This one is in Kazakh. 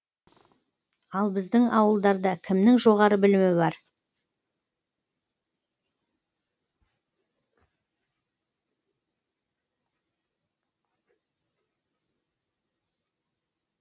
ал біздің ауылдарда кімнің жоғары білімі бар